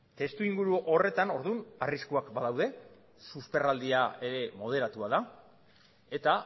testuinguru horretan orduan arriskuak badaude susperraldia ere moderatua da eta